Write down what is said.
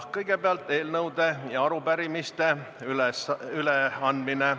Kõigepealt eelnõude ja arupärimiste üleandmine.